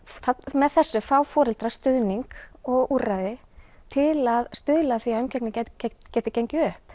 með þessu fá foreldrar stuðning og úrræði til að stuðla af því að umgengni geti gengið upp